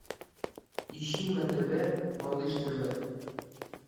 ищи на тв малыш тв